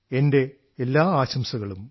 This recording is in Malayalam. എന്റെ എല്ലാ ആശംസകളും